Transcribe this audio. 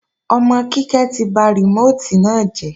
Ọmọ Kíkẹ́ ti ba rìmóòtì náà jẹ́